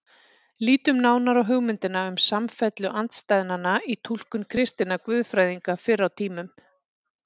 Lítum nánar á hugmyndina um samfellu andstæðnanna í túlkun kristinna guðfræðinga fyrr á tímum.